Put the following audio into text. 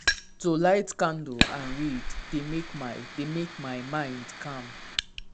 to light candle and read dey make my dey make my mind calm.